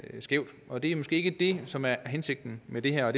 skævt og det er måske ikke det som er hensigten med det her og